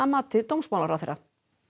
mati dómsmálaráðherra